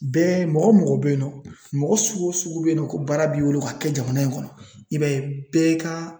Bɛɛ mɔgɔ mɔgɔ bɛ yen nɔ, mɔgɔ sugu o sugu bɛ yen nɔ ko baara b'i bolo ka kɛ jamana in kɔnɔ, i b'a ye bɛɛ ka